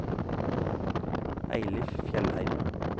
Eilif Fjellheim